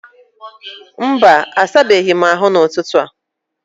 Mba, asabeghị m ahụ n'ụtụtụ a